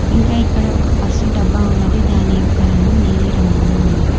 ఇంకా ఇక్కడ ఒక కస్సు డబ్బా ఉన్నది దాని యొక్క రంగు నీలిరంగులో ఉన్నది.